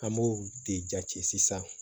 An b'o de jate sisan